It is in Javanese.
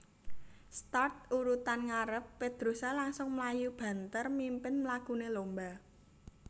Start urutan ngarep Pedrosa langsung mlayu banther mimpin mlakune lomba